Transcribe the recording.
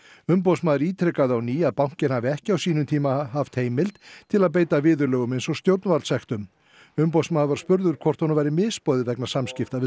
umboðsmaður ítrekaði á ný að bankinn hafi ekki á sínum tíma haft heimild til að beita viðurlögum eins og stjórnvaldssektum umboðsmaður var spurður hvort honum væri misboðið vegna samskipta við